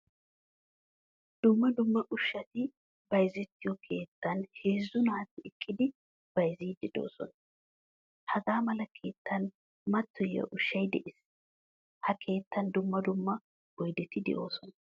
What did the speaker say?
Dumma dumma ushshati bayzettiyo keettanheezzu naati eqqidi bayzzidi deosona. Hagaamala keettan matoyiya ushshay de'ees. Ha keettan dumma dumma oydeti deosona.